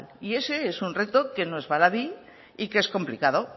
y ese es un reto que no baladí y que es complicado